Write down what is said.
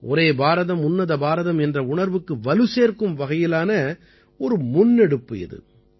ஒரே பாரதம் உன்னத பாரதம் என்ற உணர்வுக்கு வலுசேர்க்கும் வகையிலான ஒரு முன்னெடுப்பு இது